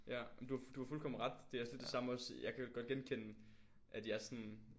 Ja ej men du har du har fuldkommen ret. Det er også lidt det samme også jeg kan godt genkende at jeg sådan